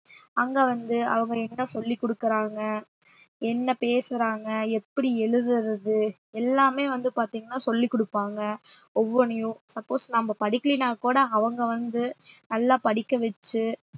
அங்க வந்து அவங்க என்கிட்ட சொல்லிக் குடுக்கறாங்க என்ன பேசுறாங்க எப்படி எழுதுறது எல்லாமே வந்து பாத்தீங்கன்னா சொல்லிக் கொடுப்பாங்க ஒவ்வொன்னையும் suppose நம்ம படிக்கலின்னா கூட அவங்க வந்து நல்லா படிக்க வச்சு